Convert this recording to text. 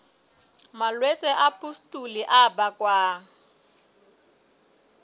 malwetse a pustule a bakwang